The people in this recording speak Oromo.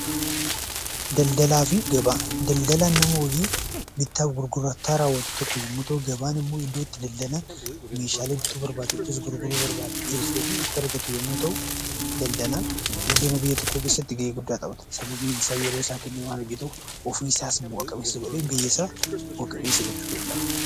Daldalaa fi gabaa. Daldalaan nama hojii bittaa fi gurgurtaa rawwatu tokko yammuu ta'u; gabaan immoo bakka itti daldalan meeshaalee bitu barbaadan tokko yookiinis gurguruu barbaadutokko dhiyeessuu fi itti argatu yammuu ta'u, daldalaan guddina biyya tokkoo keessatti ga'ee guddaa taphata. Sababni isaa yeroo isaa kennee waan hojjetuuf of isaas bu'a qabeessa godhee biyya isaa bu'a qabeessa gochuu danda'a.